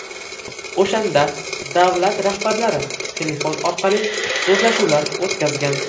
O‘shanda davlat rahbarlari telefon orqali so‘zlashuvlar o‘tkazgan.